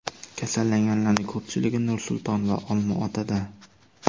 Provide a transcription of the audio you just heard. Kasallanganlarning ko‘pchiligi Nur-Sulton va Olmaotada.